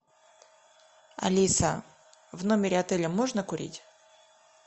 алиса в номере отеля можно курить